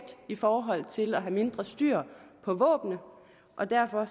i forhold til at have mindre styr på våbnene og derfor